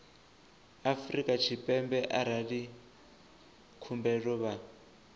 afrika tshipembe arali khumbelo vha